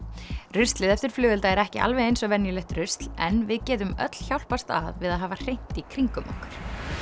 ruslið eftir flugelda er ekki alveg eins og venjulegt rusl en við getum öll hjálpast að við að hafa hreint í kringum okkur